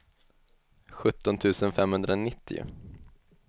sjutton tusen femhundranittio